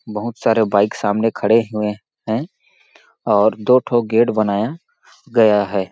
बहुत सारे बाइक सामने खड़े हुए है और दो ठो गेट बनाया गया है।